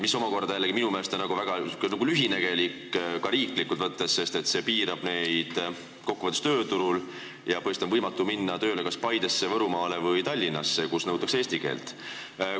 See on minu meelest jällegi väga lühinägelik, ka riiklikult võttes, sest see piirab neid inimesi kokkuvõttes tööturul, põhimõtteliselt on neil võimatu minna tööle kas Paidesse, Võrumaale või Tallinnasse, kus nõutakse eesti keele oskust.